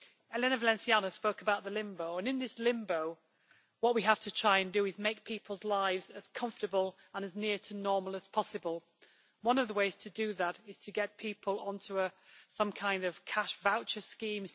Elena Valenciano spoke about the limbo, and in this limbo what we have to try and do is make people's lives as comfortable and as near to normal as possible. One of the ways to do that is to get people onto some kind of cash voucher scheme.